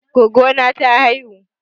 Goggo na ta haihu.